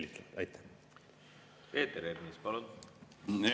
Peeter Ernits, palun!